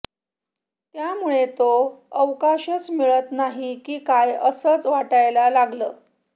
त्यामुळे तो अवकाशच मिळत नाही की काय असंच वाटायला लागतं